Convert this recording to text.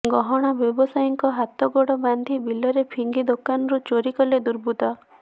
ଗହଣା ବ୍ୟବସାୟୀଙ୍କ ହାତ ଗୋଡ ବାନ୍ଧି ବିଲରେ ଫିଙ୍ଗି ଦୋକାନରୁ ଚୋରୀ କଲେ ଦୁର୍ବୃତ୍ତ